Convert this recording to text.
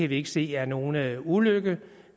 vi ikke se er nogen ulykke